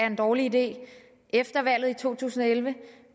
en dårlig idé efter valget i to tusind og elleve